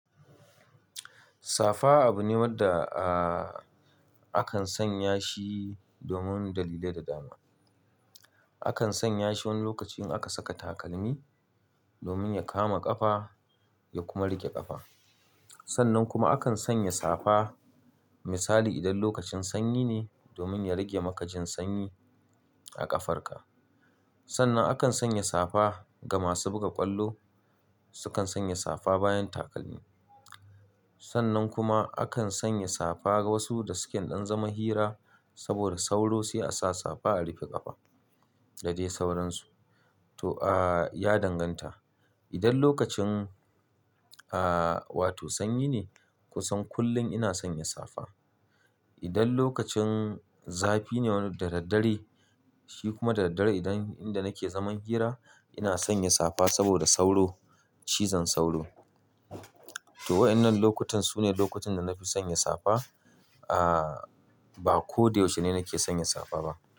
Safa abu ne wanda, ah, akan sanya shi domin dalilai da dama. Akan sanya shi wani lokaci in aka saka takalmi domin ya kama ƙafa ya kuma riƙe ƙafa. Sannan kuma akan sanya safa misali idan lokacin sanyi ne domin ya riƙe maka jin sanyi a ƙafarka. Sannan akan sanya safa ga masu buga ƙwallo, sukan sanya safa bayan takalmi. Sannan kuma akan sanya safa ga wasu da suke ɗan zaman hira saboda sauro sai a sa safa a rufe ƙafa da dai sauransu. To, ah, ya danganta. Idan lokacin, ah, wato sanyi ne kusan kullum ina sanya safa. Idan lokacin zafi ne wani da dad dare shi kuma da dad dare idan inda nake zaman hira ina sanya safa saboda sauro, cizon sauro. To waɗannan lokutan su ne lokutan da na fi sanya safa. Ah, ba ko da yaushe ne nake sanya safa ba.